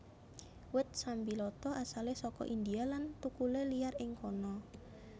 Wit sambiloto asalé saka India lan thukulé liyar ing kana